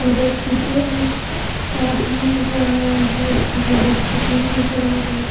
और दस चीजें हैं ऊपर आसमान नज़र आ रहा है स्कूल की बस रुकी हुई नज़र आ रही है।